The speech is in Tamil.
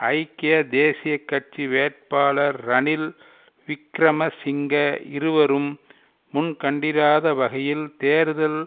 ஐக்கிய தேசிய கட்சி வேட்பாளர் ரனில் விக்கிரமசிங்க இருவரும் முன்கண்டிராத வகையில் தேர்தல்